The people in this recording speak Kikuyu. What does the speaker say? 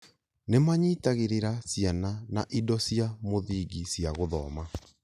Nĩ maanyitagĩrĩra ciana na indo cia mũthingi cia gũthoma